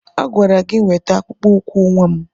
A gwara gi weta akpụkpọ ụkwụ nwa m!